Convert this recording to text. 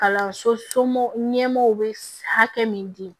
Kalanso somɔgɔ ɲɛmɔgɔw bɛ hakɛ min di